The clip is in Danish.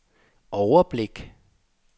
overblik